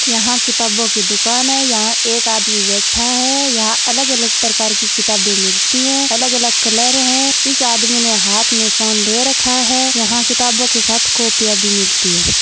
यहां किताबों की दुकान है यहाँ एक आदमी बैठा है यहाँ अलग-अलग प्रकार की किताबें मिलती है अलग अलग कलर है इस आदमी ने हाथ में फ़ोन ले रखा है यहाँ किताबों के साथ कॉपीया भी मिलती है।